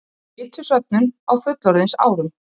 Fitusöfnun á fullorðinsárum